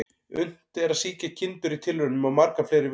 Unnt er að sýkja kindur í tilraunum á marga fleiri vegu.